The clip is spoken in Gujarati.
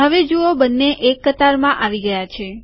હવે જુઓ બંને એક કતારમાં આવી ગયા છે